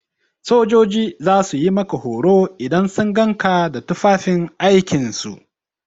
Sojoji za su yi maka horo idan sun gan ka da tufafin aikin su.